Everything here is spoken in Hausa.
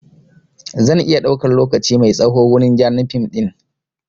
Zan iya ɗaukan lokaci mai tsaho wurin gyaran fim ɗin